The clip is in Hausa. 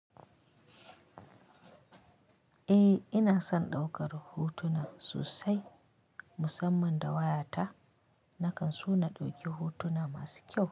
Eh ina son ɗaukar hotuna sosai musamman da wayata nakan so na ɗauki hotuna masu kyau.